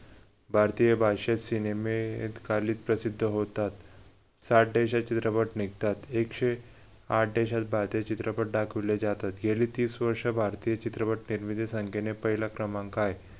भारतीय भाषेत सिनेमे अत्कालिक प्रसिद्ध होतात चित्रपट निघतात एकशे आठ देशात भारतीय चित्रपट दाखवले जातात गेली तीस वर्ष भारतीय चित्रपट निर्मिती संख्येने पहिला क्रमांक आहे.